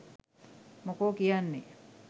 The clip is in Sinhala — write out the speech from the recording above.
මොකෝ කියන්නේ?